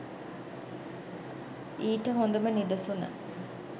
ඊට හොඳම නිදසුන